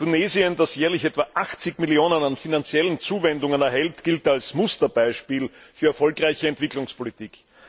Tunesien, das jährlich etwa 80 Millionen Euro an finanziellen Zuwendungen erhält, gilt als Musterbeispiel für erfolgreiche Entwicklungspolitik.